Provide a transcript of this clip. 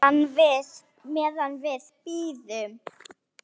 Meðan við bíðum.